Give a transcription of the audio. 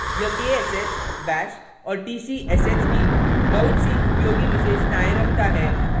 * यह ksh bash और tcsh की बहुत सी उपयोगी विशेषतायें रखता है